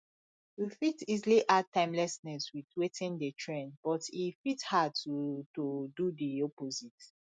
we fit easily add timelessness with wetin dey trend but e fit hard to to do di opposite